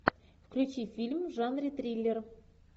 включи фильм в жанре триллер